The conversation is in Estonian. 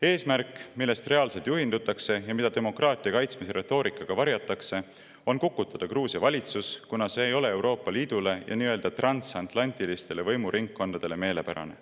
Eesmärk, millest reaalselt juhindutakse ja mida demokraatia kaitsmise retoorikaga varjatakse, on kukutada Gruusia valitsus, kuna see ei ole Euroopa Liidule ja nii-öelda transatlantilistele võimuringkondadele meelepärane.